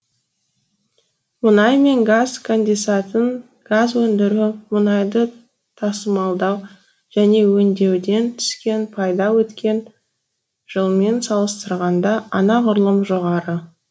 мұнай мен газ конденсатын газ өндіру мұнайды тасымалдау және өңдеуден түскен пайда өткен жылмен салыстырғанда анағұрлым жоғары